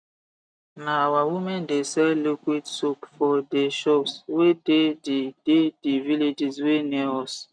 na our women de sell liquid soap for de shops wey dey the dey the villages wey near us